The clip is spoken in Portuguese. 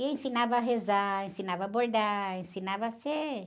E ensinava a rezar, ensinava a bordar, ensinava a ser...